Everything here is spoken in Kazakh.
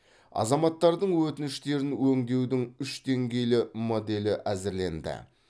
азаматтардың өтініштерін өңдеудің үш деңгейлі моделі әзірленді